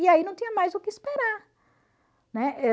E aí não tinha mais o que esperar, né?